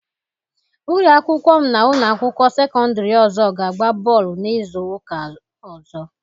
Ụlọ akwụkwọ m na ụlọ akwụkwọ sekọndịrị ọzọ ga-agba bọọlụ n'izu ụka ọzọ.